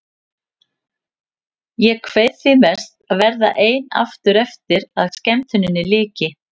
Ég kveið því mest að verða ein aftur eftir að skemmtuninni lyki.